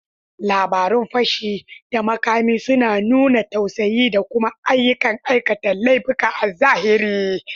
Labarun fashi da makami suna nuna tsautsayi da kuma ayyukan aikata laifuka a zahiri.